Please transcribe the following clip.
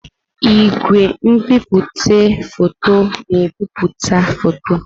Igwe nbipute foto na-ebipụta foto.